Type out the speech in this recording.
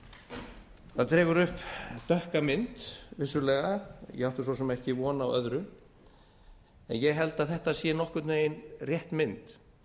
það dregur vissulega upp dökka mynd ég átti svo sem ekki von á öðru en ég held að þetta sé nokkurn veginn rétt mynd